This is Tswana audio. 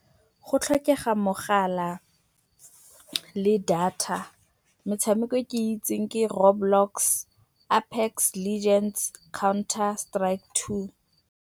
Go tlhokega mogala le data. Metshameko e ke itseng ke Row Blocks, Appex Legends, Counter Strike Two.